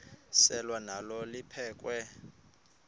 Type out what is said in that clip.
selwa nalo liphekhwe